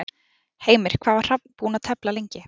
Heimir, hvað er Hrafn búinn að tefla lengi?